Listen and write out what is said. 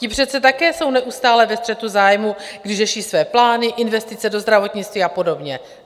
Ti přece také jsou neustále ve střetu zájmů, když řeší své plány, investice do zdravotnictví a podobně.